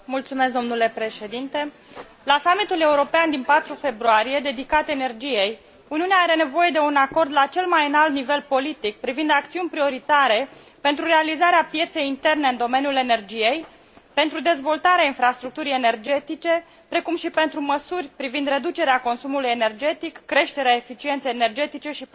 La summitul european din 4 februarie, dedicat energiei, Uniunea are nevoie de un acord la cel mai înalt nivel politic privind acțiuni prioritare pentru realizarea pieței interne în domeniul energiei, pentru dezvoltarea infrastructurii energetice, precum și pentru măsuri privind reducerea consumului energetic, creșterea eficienței energetice și promovarea energiilor regenerabile.